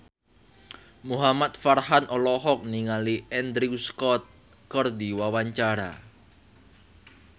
Muhamad Farhan olohok ningali Andrew Scott keur diwawancara